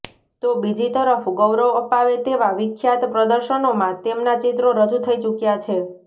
તો બીજી તરફ ગૌરવ અપાવે તેવા વિખ્યાત પ્રદર્શનોમાં તેમના ચિત્રો રજૂ થઇ ચૂક્યા છે